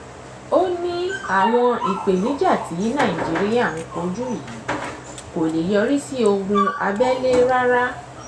ó ní àwọn ìpèníjà tí nàìjíríà ń kojú yìí kò lè yọrí sí ogun abẹ́lé rárá